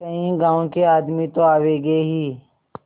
कई गाँव के आदमी तो आवेंगे ही